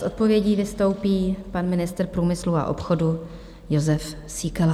S odpovědí vystoupí pan ministr průmyslu a obchodu Jozef Síkela.